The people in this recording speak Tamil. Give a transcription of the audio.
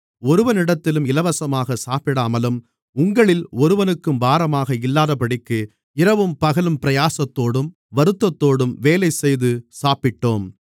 ஒருவனிடத்திலும் இலவசமாகச் சாப்பிடாமலும் உங்களில் ஒருவனுக்கும் பாரமாக இல்லாதபடிக்கு இரவும் பகலும் பிரயாசத்தோடும் வருத்தத்தோடும் வேலைசெய்து சாப்பிட்டோம்